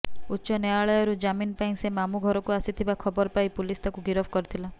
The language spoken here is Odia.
ଉଚ୍ଚ ନ୍ୟାୟାଳୟରୁ ଜାମିନ୍ ପାଇଁ ସେ ମାମୁଁ ଘରକୁ ଆସିଥିବା ଖବର ପାଇ ପୁଲିସ ତାକୁ ଗିରଫ କରିଥିଲା